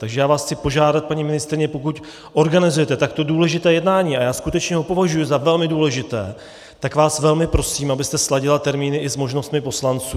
Takže já vás chci požádat, paní ministryně, pokud organizujete takto důležité jednání, a já skutečně ho považuji za velmi důležité, tak vás velmi prosím, abyste sladila termíny i s možnostmi poslanců.